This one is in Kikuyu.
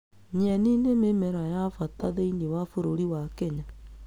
Nyeni nĩ mĩmera wa bata thĩiniĩ wa bũrũri wa Kenya